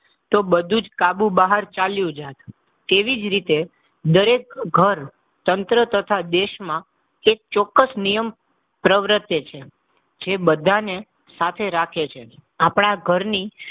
તો બધું જ કાબુ બહાર ચાલ્યો જાત. તેવી જ રીતે દરેક ઘર, તંત્ર તથા દેશમાં એક ચોક્કસ નિયમ પ્રવર્તે છે. જે બધાને સાથે રાખે છે. આપણા ઘરની,